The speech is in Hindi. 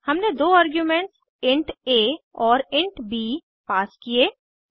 हमने दो आर्ग्यूमेंट्स इंट आ और इंट ब पास किये